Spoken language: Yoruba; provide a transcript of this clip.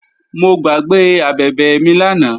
Mo gbàgbé abẹ̀bẹ̀ mi lánàá